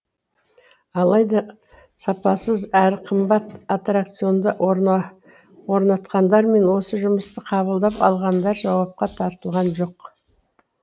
алайда сапасыз әрі қымбат аттракционды орнатқандар мен осы жұмысты қабылдап алғандар жауапқа тартылған жоқ